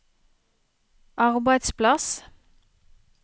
arbeidsplass